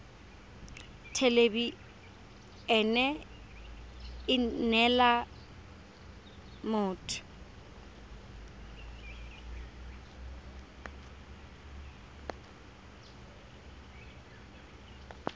thelebi ene e neela motho